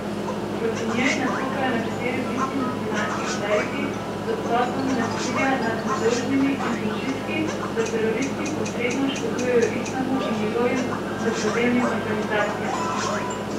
Proti njej nastopajo nekateri vidni muslimanski kleriki z obsodbami nasilja nad nedolžnimi in z očitki, da teroristi posredno škodujejo islamu in njegovim dobrodelnim organizacijam.